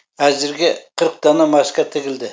әзірге қырық дана маска тігілді